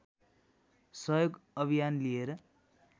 सहयोग अभियान लिएर